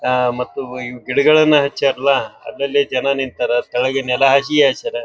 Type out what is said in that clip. ಅಹ್ ಮತ್ತು ಇವ್ ಗಿಡಗಳನ ಹಚ್ಚ್ಯಾರಲಾ ಅದ್ರಲ್ಲಿ ಜನ ನಿತ್ತರ್ ತಳಗಿ ನೆಲ ಹಸಿ ಹಾಸ್ಯರ್.